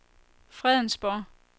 Fredensborg